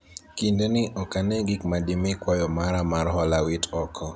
kinde ni ok ane gik ma dimi kwayo mara mar hola wit oko